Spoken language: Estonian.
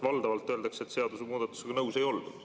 Valdavalt öeldakse, et seadusemuudatusega nõus ei oldud.